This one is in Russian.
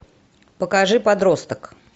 покажи подросток